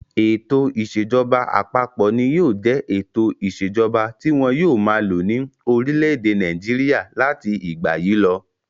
Ètò ìṣèjọba àpapọ̀ ni yóò jẹ ètò ìṣèjọba tí wọn yóò máa lo ní orílẹ̀-èdè Nàìjíríà láti ìgbà yìí lọ.